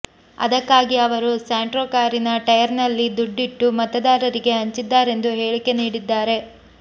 ಅದಕ್ಕಾಗಿ ಅವರು ಸ್ಯಾಂಟ್ರೋ ಕಾರಿನ ಟೈಯರ್ನಲ್ಲಿ ದುಡ್ಡಿಟ್ಟು ಮತದಾರರಿಗೆ ಹಂಚಿದ್ದಾರೆಂದು ಹೇಳಿಕೆ ನೀಡಿದ್ದಾರೆ